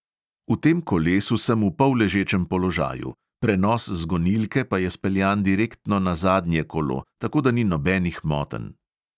V tem kolesu sem v polležečem položaju, prenos z gonilke pa je speljan direktno na zadnje kolo, tako da ni nobenih motenj.